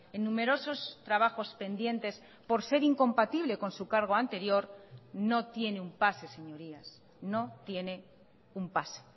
en numerosos trabajos pendientes por ser incompatible con su cargo anterior no tiene un pase señorías no tiene un pase